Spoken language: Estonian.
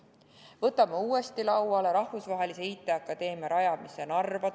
Võtame uuesti lauale rahvusvahelise IT-akadeemia rajamise Narva!